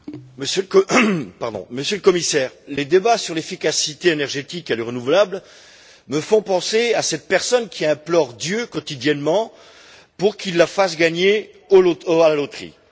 Monsieur le Président, Monsieur le Commissaire, les débats sur l'efficacité énergétique et l'énergie renouvelable me font penser à cette personne qui implore Dieu quotidiennement pour qu'il la fasse gagner à la loterie.